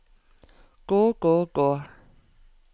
gå gå gå